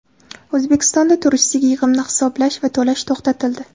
O‘zbekistonda turistik yig‘imni hisoblash va to‘lash to‘xtatildi.